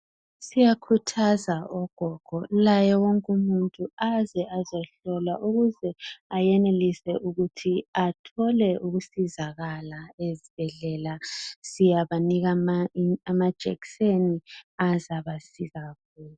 Siyakhuthaza ogogo laye wonke umuntu aze azohlolwa ukuze ayenelise ukuthi athole ukusizakala ezibhedlela. Siyawabona amajekiseni azabasiza